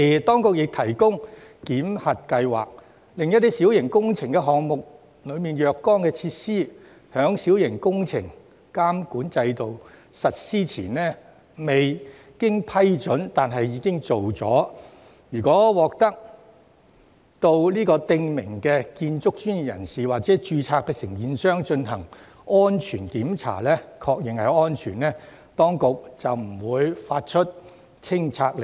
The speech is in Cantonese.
當局同時設立檢核計劃，容許在小型工程監管制度實施前未經批准但已完成的若干小型設施予以保留，條件是該等設施須經訂明建築專業人士或註冊承建商進行檢查，確認安全，這樣當局便不會發出拆卸令。